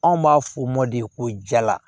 Anw b'a fɔ mɔden ko jala